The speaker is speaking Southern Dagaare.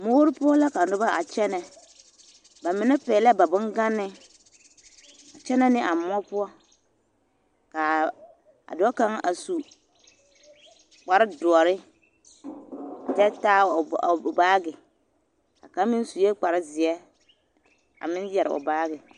Moore poɔ la ka noba a kyɛnɛ, bamine pɛgelɛɛ ba boŋganee a kyɛnɛ ne a moɔ poɔ k'a dɔɔ kaŋ a su kpare doɔre kyɛ taa o baagi, a kaŋ meŋ sue kpare zeɛ a meŋ yɛre o baagi.